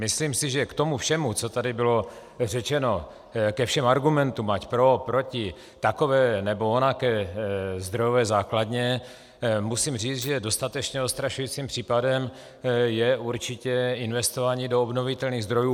Myslím si, že k tomu všemu, co tady bylo řečeno, ke všem argumentům, ať pro, proti, takové nebo onaké zdrojové základně, musím říct, že dostatečně odstrašujícím případem je určitě investování do obnovitelných zdrojů.